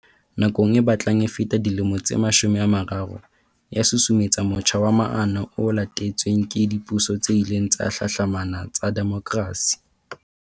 Borwa e lokolohileng, hape, nakong e batlang e feta dilemo tse mashome a mararo, ya susumetsa motjha wa maano o latetsweng ke dipuso tse ileng tsa hlahlamana tsa demokrasi.